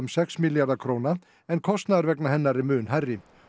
sex milljarða en kostnaður vegna hennar er mun hærri